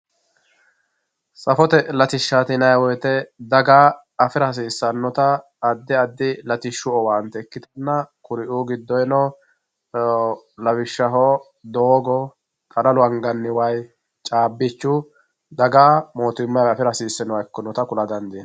safote latishshaati yinayii woyiite daga afira hasiissannota addi addi latishshu owaante ikkitanna kuri"uu gidoyeeno lawishshaho doogo, qararu anganni wayi, caabichu daga motumayivi afira hasiisinoha ikkinota kula dandiinaye